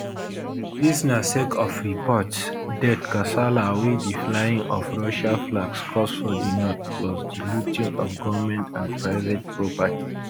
dis na sake of reports death kasala wey di flying of russia flags cause for di north plus di looting of goment and private property